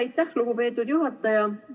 Aitäh, lugupeetud juhataja!